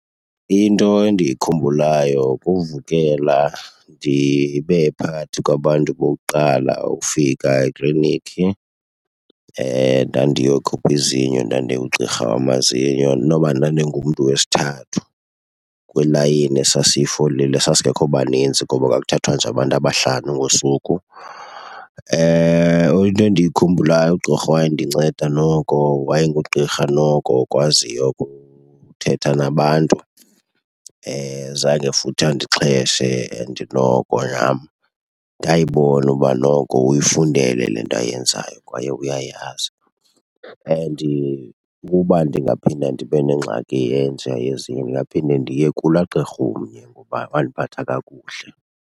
Into endiyikhumbulayo kuvukela ndibe phakathi kwabantu bokuqala ukufika ekliniki. Ndandiyokhupha izinyo, ndandiye kugqirha wamazinyo, inoba ndandingumntu wesithathu kwilayini esasiyifolile, sasingekho banintsi ngoba kwakuthathwa nje abantu abahlanu ngosuku. Into endiyikhumbulayo ugqirha owayendinceda noko wayengugqirha noko okwaziyo ukuthetha nabantu zange futhi andixheshe and noko nam ndayibona uba noko uyifundele le nto ayenzayo kwaye uyayazi. And ukuba ndingaphinda ndibe nengxaki enjeya yezinyo ndingaphinde ndiye kulaa gqirha umnye ngoba wandiphatha kakuhle.